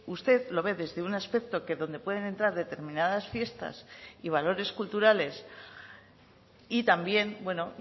usted lo ve desde un aspecto que donde pueden entrar determinadas fiestas y valores culturales y también bueno